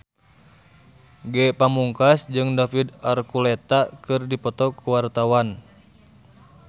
Ge Pamungkas jeung David Archuletta keur dipoto ku wartawan